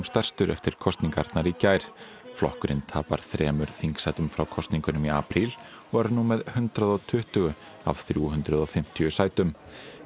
stærstur eftir kosningarnar í gær flokkurinn tapar þremur þingsætum frá kosningunum í apríl og er nú með hundrað og tuttugu af þrjú hundruð og fimmtíu sætum